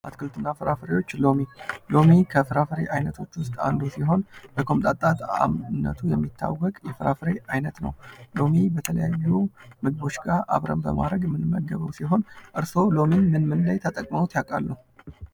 አትክልትና ፍራፍሬዎች ሎሚ ከዛ ፍራፍሬዎች ዓይነቶች ውስጥ አንዱ ሲሆን ፤ በቆምጣጣ ጣእምነቱ የሚታወቅ የፍራፍሬ አይነት ነው። ሎሚ በተለያዩ ምግቦች ጋር አብረን በማድረግ የምንመገበው ሲሆን ፤ እርስዎ ሎሚን ምን ምን ላይ ተጠቅመውት ያውቃሉ?